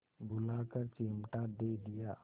बुलाकर चिमटा दे दिया